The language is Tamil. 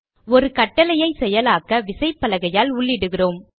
ஒரு கட்டளையை செயலாக்க விசைப்பலகையால் உள்ளிடுகிறோம்